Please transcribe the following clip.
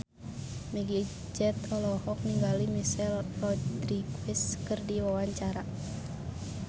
Meggie Z olohok ningali Michelle Rodriguez keur diwawancara